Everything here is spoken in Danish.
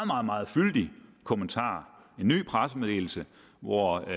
meget meget fyldig kommentar en ny pressemeddelelse hvori